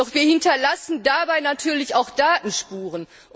Doch wir hinterlassen dabei natürlich auch Datenspuren.